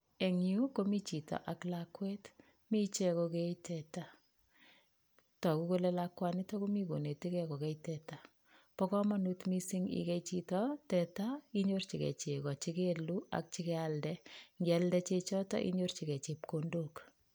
Eng Yu komii chito ak lakwet Mii ichek ko kee teta tagu kole lakwani komii konetikei kokei teta ba komonut mising igei chito teta nyorchi kee chego chi keluu ak chikealde ingialde chechotok inyorchi me chebkondok